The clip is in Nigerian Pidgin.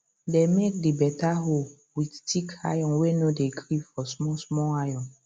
dem make the beta hoe with thick iron way no dey gree for small small iron